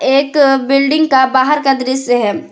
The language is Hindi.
एक बिल्डिंग का बाहर का दृश्य है।